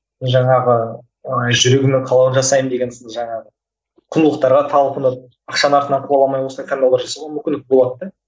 жаңағы ыыы жүрегіңнің қалауын жасаймын деген сынды жаңағы құндылықтарға талпынып ақшаның артынан қуаламай осылай таңдаулар жасауға мүмкіндік болады да